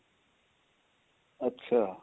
ਅੱਛਾ